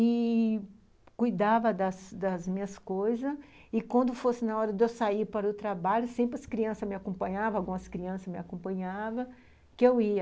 e cuidava das das minhas coisas, e quando fosse na hora de eu sair para o trabalho, sempre as crianças me acompanhavam, algumas crianças me acompanhavam, que eu ia.